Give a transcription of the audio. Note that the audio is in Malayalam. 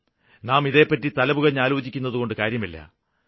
നാം ഇതേപറ്റി തലപുകഞ്ഞാലോചിക്കുന്നതുകൊണ്ട് കാര്യമില്ല